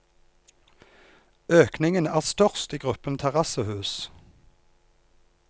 Økningen er størst i gruppen terrassehus.